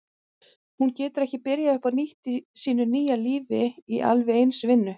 Hún getur ekki byrjað upp á nýtt í sínu nýja lífi í alveg eins vinnu.